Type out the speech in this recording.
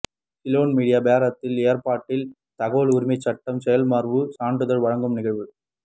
Ceylon media போரத்தின் ஏற்பாட்டில் தகவல் உரிமைச் சட்டம் செயலமர்வும் சான்றிதழ் வழங்கும் நிகழ்வும்